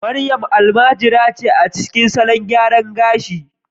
Mariam almajiri ce a cikin salon gyaran gashi